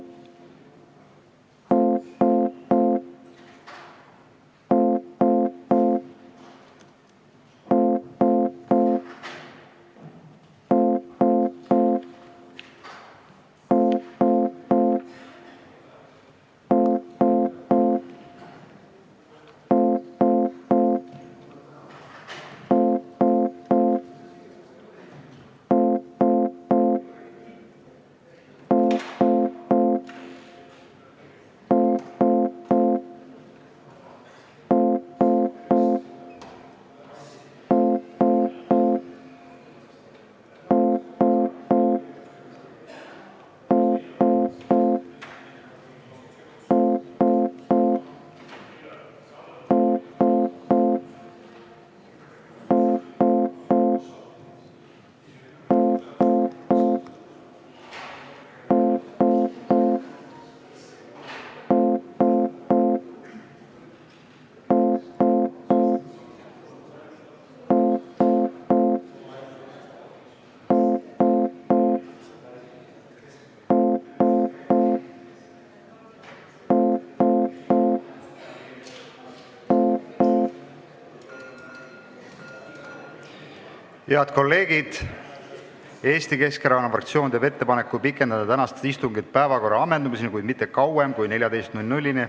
Head kolleegid, Eesti Keskerakonna fraktsioon teeb ettepaneku pikendada tänast istungit päevakorra ammendumiseni, kuid mitte kauem kui kella 14-ni.